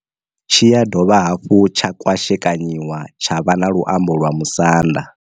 Tshi ya dovha hafhu tsha kwashekanyiwa tsha vha na luambo lwa Musanda.